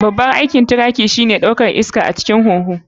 Babban aikin trachea shine ɗaukar iska a ciki da waje ta huhu.